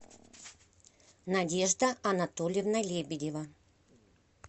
надежда анатольевна лебедева